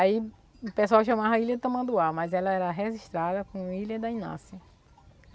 Aí o pessoal chamava a ilha Tamanduá, mas ela era registrada como Ilha da Inácia.